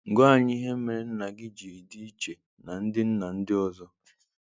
Gwa anyị ihe mere nna gị ji dị iche na ndị nna ndị ọzọ?